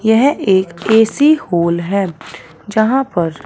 यह एक A C hole है जहां पर --